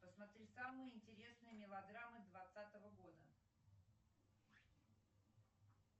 посмотри самые интересные мелодрамы двадцатого года